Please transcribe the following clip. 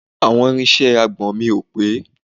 àwọn irinṣẹ́ agbọn mi ò pé